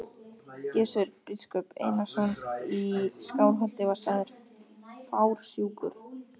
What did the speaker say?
Gizur biskup Einarsson í Skálholti var sagður fársjúkur.